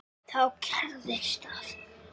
Þá gerðist það.